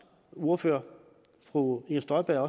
ordfører fru inger støjberg